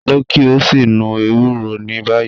Lọ ki o si nu ewuro ni bayi